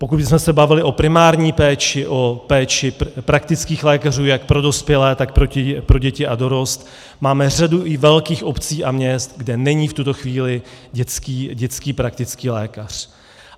Pokud bychom se bavili o primární péči, o péči praktických lékařů jak pro dospělé, tak pro děti a dorost, máme řadu i velkých obcí a měst, kde není v tuto chvíli dětský praktický lékař.